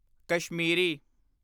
Kashmiri